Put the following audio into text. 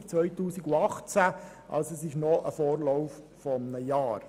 Es besteht also ein Vorlauf von einem Jahr.